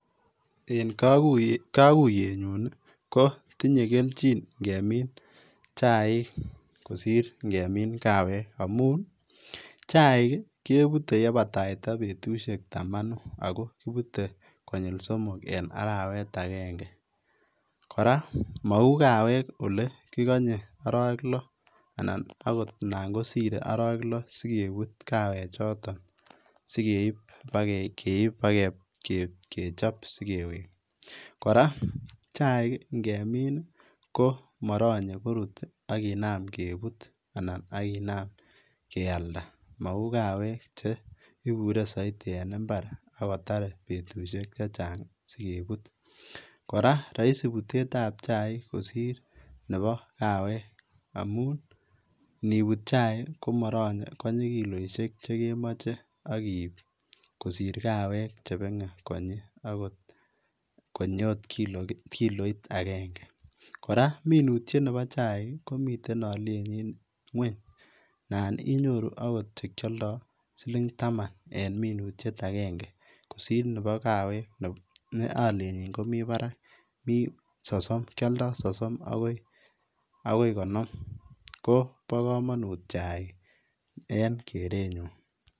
En kokuyenyun ii kotinye kelchin ing'emin chaik kosir ng'emin kawek ng'amun chaik kebute yebataita betushek tamanu akoo kibute konyil somok en arawet akeng'e, kora mouu kawek olee kikonyee orowek loo anan okot alaan kosir orowek loo sikebut kawek choton sikeib bakechop sikewek , kora chaik ng'emin komoronye koruut akinam kebut anan akinam kialda mouu kawek cheibure soitii en imbar akotar betushek chechang sikebut, kora roisi butetab chaik kosir neboo kawek amun nibuut chaik komoronye konyii kiloishek chekemoche akiib kosir kawek chebeng'e konyii akot konyi kiloit akeng'e, kora minutiet neboo chaik komiten olienyin ngweny anan inyoru okot chekioldo siling taman en minutiet akeng'e kosir neboo kawek ne olienyin komii barak mii sosom, kioldo sosom akoi konom ko bokomonut chaik en korenyun.